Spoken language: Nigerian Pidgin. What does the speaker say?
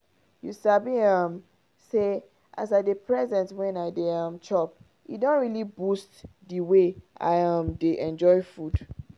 you sabi um say as as i dey present when i dey um chop e don really boost the way i um dey enjoy food.